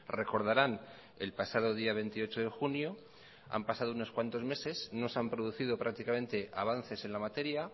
recordaran el pasado día veintiocho de junio han pasado unos cuantos meses no se han producido prácticamente avances en la materia